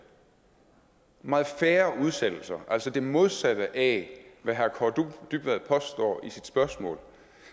meget færre udsættelser altså det modsatte af hvad herre kaare dybvad påstår i sit spørgsmål